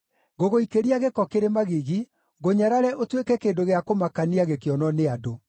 Ngũgũikĩria gĩko kĩrĩ magigi, ngũnyarare ũtuĩke kĩndũ gĩa kũmakania gĩkĩonwo nĩ andũ.